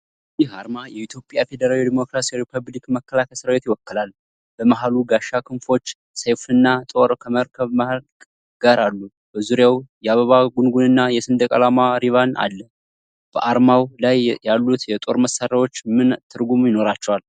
ይህ አርማ የኢትዮጵያ ፌዴራል ዴሞክራሲያዊ ሪፑብሊክ መከላከያ ሰራዊትን ይወክላል። በመሃሉ ጋሻ፣ ክንፎች፣ ሰይፍና ጦር ከመርከብ መልህቅ ጋር አሉ። በዙሪያው የአበባ ጉንጉንና የሰንደቅ ዓላማ ሪባን አለ። በአርማው ላይ ያሉት የጦር መሳሪያዎች ምን ትርጉም ይኖራቸዋል?